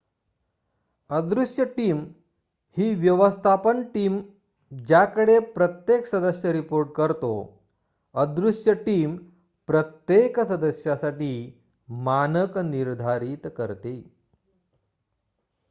अदृश्य टीम ही व्यवस्थापन टीम ज्याकडे प्रत्येक सदस्य रिपोर्ट करतो अदृश्य टीम प्रत्येक सदस्यासाठी मानक निर्धारित करते